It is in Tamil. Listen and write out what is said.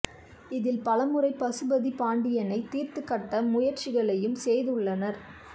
இதில் பலமுறை பசுபதி பாண்டியனைத் தீர்த்துக் கட்ட முயற்சிகளையும் செய்துள்ளனர்